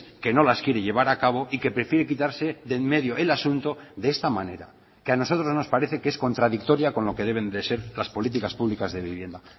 que no las quiere llevar a cabo y que prefiere quitarse de en medio el asunto de esta manera que a nosotros nos parece que es contradictoria con lo que deben de ser las políticas públicas de vivienda